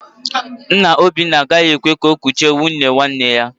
Nna Obinna a gaghị ekwe ka o kuchie nwunnye nwanne ya